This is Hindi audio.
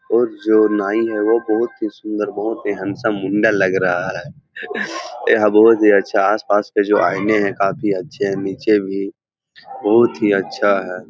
और जो नाई है वो बहुत ही सुन्दर बहुत ही हैंडसम मुंडा लग रहा है | यहाँ बहुत ही अच्छा आस पास पे जो आईने हैं काफी अच्छे हैं नीचे भी बहुत ही अच्छा है ।